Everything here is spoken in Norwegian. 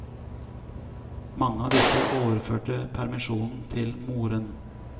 Mange av disse overførte permisjonen til moren.